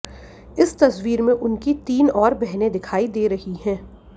इस तस्वीर में उनकी तीन और बहनें दिखाई दे रही हैं